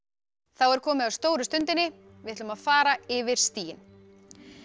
er komið að stóru stundinni við ætlum að fara yfir stigin